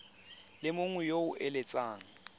le mongwe yo o eletsang